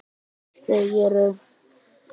Þau eru: